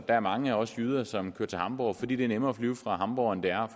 er mange af os jyder som kører til hamborg fordi det er nemmere at flyve fra hamborg end det er